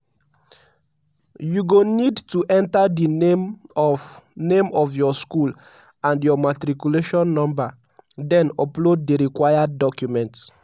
you go need to enter di name of name of your school and your matriculation number den upload di required documents.